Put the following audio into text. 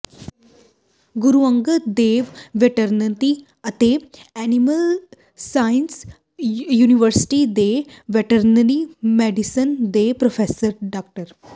ਗੁਰੂ Angad Dev veterinary ਅਤੇ animal sciences university ਦੇ veterinary medicine ਦੇ ਪ੍ਰੋਫੈਸਰ ਡਾ